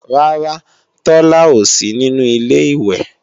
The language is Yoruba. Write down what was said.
Rárá, Tola ò sí nínú Ilé-ìwẹ̀